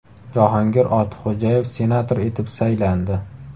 Jahongir Ortiqxo‘jayev senator etib saylandi.